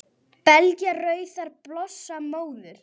Belja rauðar blossa móður